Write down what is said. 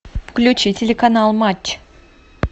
включи телеканал матч